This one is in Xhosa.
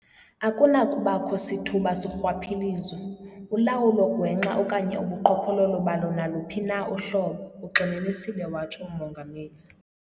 "Akunakubakho sithuba sorhwaphilizo, ulawulo gwenxa okanye ubuqhophololo balo naluphi na uhlobo," ugxininisile watsho uMongameli.